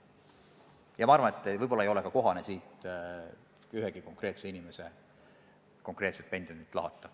Ja ma arvan, et võib-olla ei ole ka kohane siin mõne konkreetse inimese konkreetset pensionit lahata.